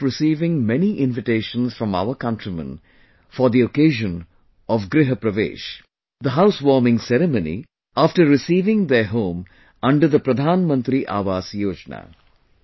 I keep receiving many invitations from our countrymen for the occasion of 'GrihPravesh' the house warming ceremony, after receiving their home under the 'Pradhan Mantri Awas Yojana'